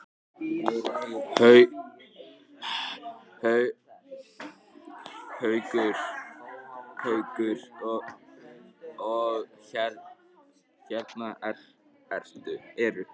Haukur: Og hérna eru?